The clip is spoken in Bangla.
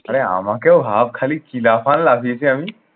আরে আমাকেও ভাব খালি কি লাফান লাফিয়েছি আমি